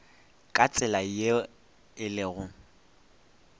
ka tsela ye e lego